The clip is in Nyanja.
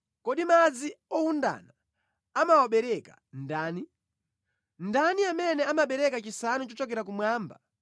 Kodi madzi owundana anawabereka ndani? Ndani amene anabereka chisanu chochokera kumwamba